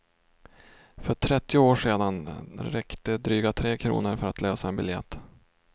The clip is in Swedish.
För trettio år sedan räckte dryga tre kronor för att lösa en biljett.